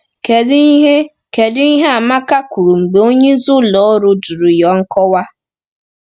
Kedu ihe Kedu ihe Amaka kwuru mgbe onye isi ụlọ ọrụ jụrụ ya nkọwa?